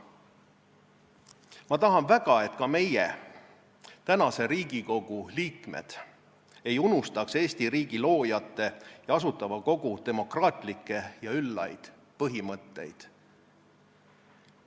Ma tahan väga, et ka meie, praeguse Riigikogu liikmed ei unustaks Eesti riigi loojate ja Asutava Kogu demokraatlikke ja üllaid põhimõtteid.